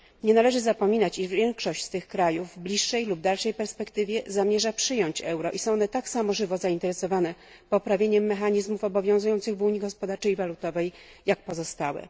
Nie należy zapominać, iż większość z tych krajów w bliższej lub dalszej perspektywie zamierza przyjąć euro i są one tak samo żywo zainteresowane poprawieniem mechanizmów obowiązujących w Unii Gospodarczej i Walutowej, jak pozostałe.